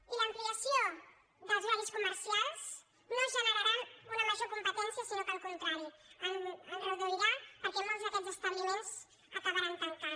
i l’ampliació dels horaris comercials no generarà una major competència sinó que al contrari en reduirà perquè molts d’aquests establiments acabaran tancant